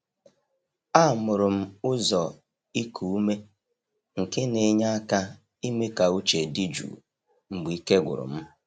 Amụrụ m ụzọ iku ume nke na-enye aka ime ka uche dị jụụ mgbe ike gwụrụ m.